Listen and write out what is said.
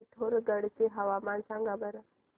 पिथोरगढ चे हवामान सांगा बरं